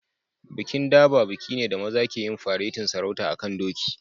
Bikin Durbar bikin ne da maza ke yin faretin sarauta a'kan doki.